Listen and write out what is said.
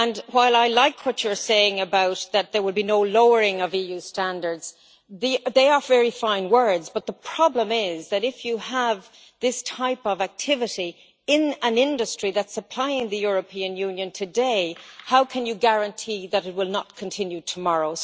While I like what you are saying, that there would be no lowering of EU standards, these are very fine words but the problem is that if you have this type of activity in an industry that is supplying the European Union today, how can you guarantee that it will not continue tomorrow?